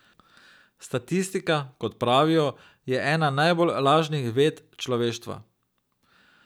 Statistika, kot pravijo, je ena najbolj lažnivih ved človeštva.